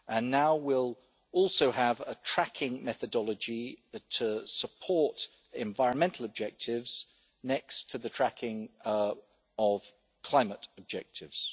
Now we'll also have a tracking methodology that supports environmental objectives next to the tracking of climate objectives.